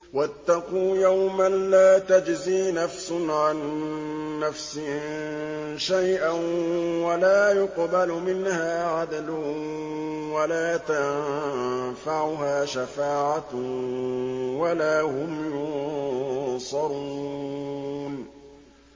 وَاتَّقُوا يَوْمًا لَّا تَجْزِي نَفْسٌ عَن نَّفْسٍ شَيْئًا وَلَا يُقْبَلُ مِنْهَا عَدْلٌ وَلَا تَنفَعُهَا شَفَاعَةٌ وَلَا هُمْ يُنصَرُونَ